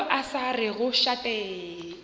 yo a sa rego šate